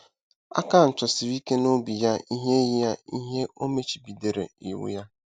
Akan chọsiri ike n’obi ya ihe ya ihe e machibidoro iwu ya.